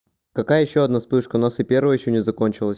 какая ещё одна вспышка у нас и первая ещё не закончилась